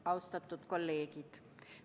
Austatud kolleegid!